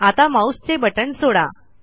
आता माऊसचे बटण सोडा